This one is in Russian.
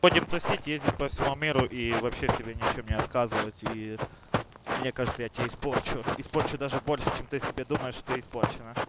будем тусить ездить по всему миру и вообще себе ни в чём не отказывать и мне кажется я тебя испорчу испорчу даже больше чем ты себе думаешь что испорчена